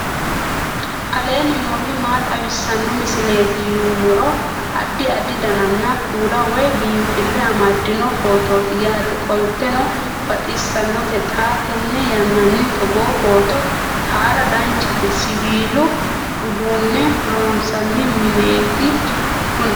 aleenni nooti maa xawisanno misileeti yinummoro addi addi dananna kuula woy biinfille amaddino footooti yaate qoltenno baxissannote xa tenne yannanni togoo footo haara danchate siwiilu uduunne loonsanni mineeti kuni